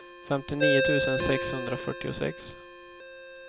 femtionio tusen sexhundrafyrtiosex